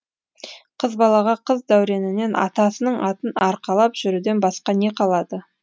қыз балаға қыз дәуренінен атасының атын арқалап жүруден басқа не қалады